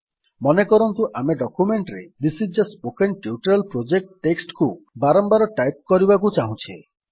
ମନେକରନ୍ତୁ ଆମେ ଡକ୍ୟୁମେଣ୍ଟ୍ ରେ this is a spoken tutorial project text କୁ ବାରମ୍ବାର ଟାଇପ୍ କରିବାକୁ ଚାହୁଁଛେ